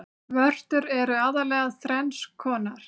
Vörtur eru aðallega þrenns konar.